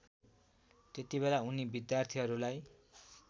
त्यतिबेला उनी विद्यार्थीहरूलाई